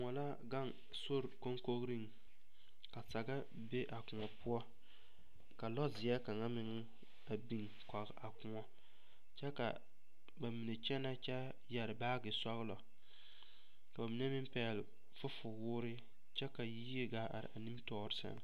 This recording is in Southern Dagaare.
Koɔ la gaŋ sori kokogreŋ ka saga be a koɔ poɔ ka lɔzeɛ kaŋa meŋ a biŋ kɔge a koɔ kyɛ ka ba mine kyɛnɛ kyɛ yɛre baage sɔglɔ ka ba mine meŋ pɛgle fufuwoore kyɛ ka yie gaa are a nimitɔɔre sɛŋ.